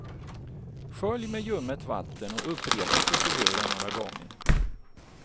Skölj med ljummet vatten och upprepa proceduren några gånger.